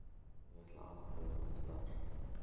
Ég ætla að athuga annars staðar.